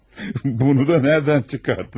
Bunu da nədən çıxardınız?